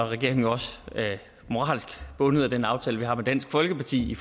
regeringen også moralsk bundet af den aftale vi har med dansk folkeparti